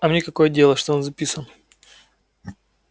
а мне какое дело что он записан